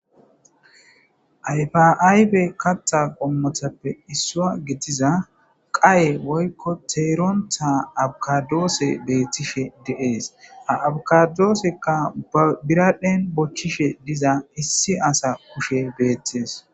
ayfaaybe kaxa qommothappe issua gitiza qaye woykko teerontha abkadoose beethtishe deees aabkadoosekka biradphen bochchishe diza issi asa kushe beettees